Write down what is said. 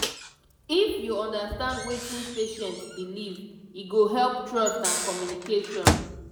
if you understand wetin patient believe e go help trust and communication.